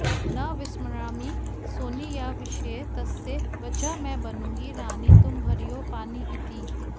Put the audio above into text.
न विस्मरामि सोनीयाविषये तस्य वचः मैं बनूँगी रानी तुम भरियो पानी इति